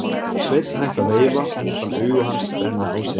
Sveinn hætti að veifa og hún fann augu hans brenna á sér.